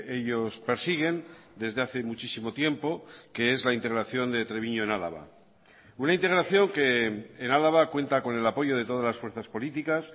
ellos persiguen desde hace muchísimo tiempo que es la integración de treviño en álava una integración que en álava cuenta con el apoyo de todas las fuerzas políticas